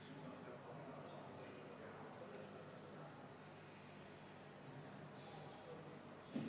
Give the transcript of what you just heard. See puudutab väga laia spektrit küsimusi, sh teadus- ja arendustegevust, haridust – kõike-kõike.